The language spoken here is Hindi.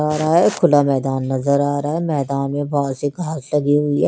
और हत खुला मैदान नज़र आरहा है मैदान में बहोत सारी घास लगी हुई है ।